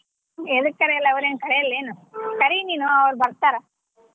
ಎದಕ್ ಕರಿಯಲ್ಲ ಅವರೆನ್ ಕರಿಯಲ್ಲ್ ಏನ್ ಕರಿ ನೀನು ಅವ್ರು ಬರ್ತಾರ.